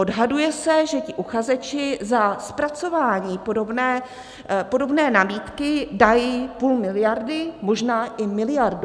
Odhaduje se, že ti uchazeči za zpracování podobné nabídky dají půl miliardy, možná i miliardu.